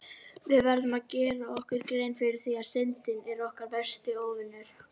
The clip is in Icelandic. Við verðum að gera okkur grein fyrir því að Syndin er okkar versti óvinur!